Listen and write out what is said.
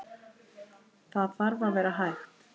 Það þarf að vera hægt.